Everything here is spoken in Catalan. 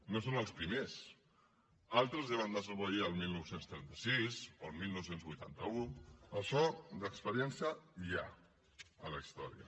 no són els primers altres ja van desobeir el dinou trenta sis o el dinou vuitanta u d’això d’experiència n’hi ha a la història